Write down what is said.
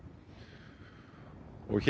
og hér